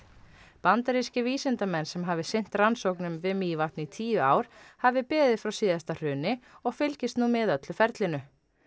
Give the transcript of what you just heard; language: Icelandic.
bandarískir vísindamenn sem hafi sinnt rannsóknum við Mývatn í tíu ár hafi beðið frá síðasta hruni og fylgist nú með öllu ferlinu